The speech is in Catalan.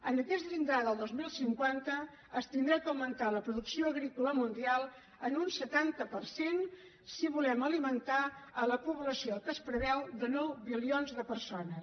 en aquest llindar del dos mil cinquanta s’haurà d’augmentar la producció agrícola mundial en un setanta per cent si volem alimentar la població que es preveu de nou bilions de persones